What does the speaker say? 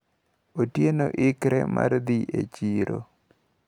Otieno ikre mar dhi e chiro.